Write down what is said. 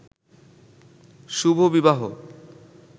শুভ বিবাহ